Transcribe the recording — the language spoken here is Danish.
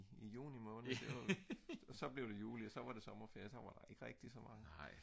i junimåned det var jo så blev det juli så var der sommerferie og så var der ikke rigtigt så meget